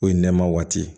O ye nɛma waati ye